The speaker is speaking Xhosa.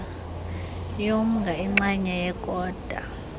yomnga ingxenye yekota